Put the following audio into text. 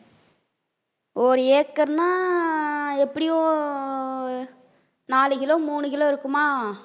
ஒரு ஏக்கர்னா எப்படியும் நாலு கிலோ மூணு கிலோ இருக்குமா